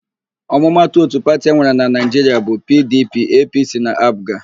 Ọmụmatụ òtù pati enwere na Naịjiria bụ PIiDIiPIi, EePiiSii na AaPụga.